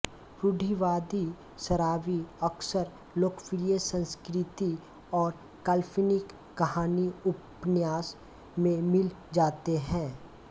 रूढि़वादी शराबी अक्सर लोकप्रिय संस्कृति और काल्पनिक कहानीउपन्यास में मिल जाते हैं